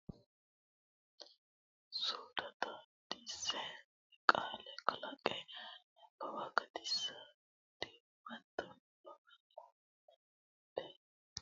suudda xaadisse qaale kalaqqe nabbawate gedensiidi huwato nabbabbanno aana hasaabbe niwaawete amado nabbawate albiidi huwato aana guulcho kultanno hasaabbe niwaawennita amadose qaallate egenno bowirsidhanno balaxxe coyidhanno addi addita baadillicho godo le.